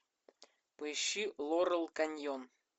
поищи лорел каньон